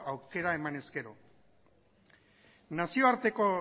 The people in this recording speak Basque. aukera eman ezkero nazioarteko